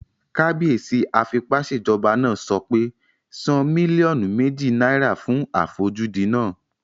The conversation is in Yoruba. Kábíyèsí afipásèjọba náà sọ pé "san mílíọ̀nù méjì náírà fún àfojúdi náà!"